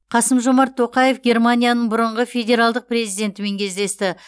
қасым жомарт тоқаев германияның бұрынғы федералдық президентімен кездесті